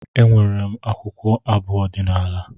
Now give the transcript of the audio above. Enwere m akwụkwọ abụ ọdinala